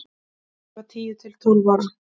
Ég var tíu til tólf ára.